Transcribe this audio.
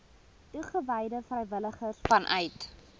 toegewyde vrywilligers vanuit